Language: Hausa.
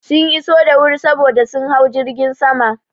Sun iso da wuri saboda sun hau jirgin sama.